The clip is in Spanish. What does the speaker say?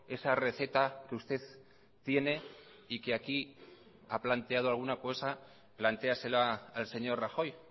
esa receta que usted tiene y que aquí ha planteado alguna cosa planteásela al señor rajoy